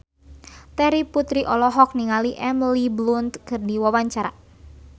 Terry Putri olohok ningali Emily Blunt keur diwawancara